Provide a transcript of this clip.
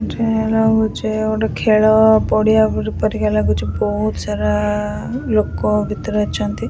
ଲାଗୁଛି ଗୋଟେ ଖେଳ ପଡିଆ ପରି ପରିକା ଲାଗୁଛି ବହୁତ ସାରା ଲୋକ ଭିତରେ ଅଛନ୍ତି ।